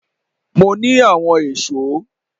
Mo ní àwọn èso